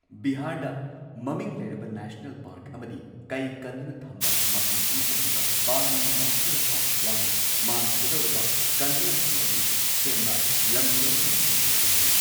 ꯕꯤꯍꯥꯔꯗ ꯃꯃꯤꯡ ꯂꯩꯔꯕ national park ꯑꯃꯗꯤ ꯀꯩ ꯀꯟꯗꯨꯅ ꯊꯝꯕ ꯃꯐꯝ ꯑꯃ ꯑꯣꯏꯔꯤꯕ ꯕꯥꯜꯃꯤꯀꯤ ꯅꯦꯁ꯭ꯅꯦꯜ ꯄꯥꯛ ꯌꯥꯎꯅ ꯃꯥꯡꯈꯤꯒꯗꯧꯔꯕ ꯀꯟꯗꯨꯅ ꯊꯝꯕꯒꯤ ꯁꯦꯝꯕ ꯂꯝꯀꯣꯢꯕꯒꯤ ꯃꯐꯝ ꯀꯌꯥ ꯂꯩꯔꯤ꯫